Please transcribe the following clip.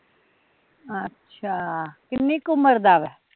ਅੱਛਾ, ਕਿੰਨੀ ਕੁ ਉਮਰ ਦਾ ਵਾਂ?